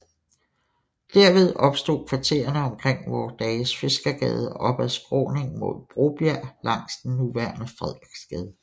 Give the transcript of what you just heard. Derved opstod kvartererne omkring vore dages Fiskergade og op ad skråningen mod Brobjerg langs den nuværende Frederiksgade